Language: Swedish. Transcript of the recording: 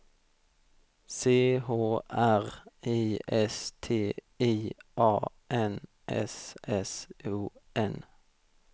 C H R I S T I A N S S O N